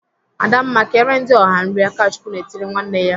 "Adamma, kere ndị ọha nri!" Akachukwu na-etiri nwanne ya.